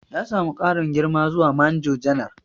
Ya samu ƙarin girma zuwa Manjo Janar.